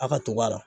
A ka tug'a la